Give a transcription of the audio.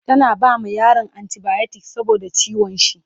tana bama yaron anti biotics saboda ciwon shi